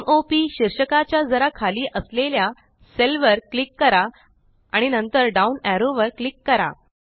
m o P शीर्षका च्या जरा खाली असलेल्या सेल वर क्लिक करा आणि नंतर डाउन एरो वर क्लिक करा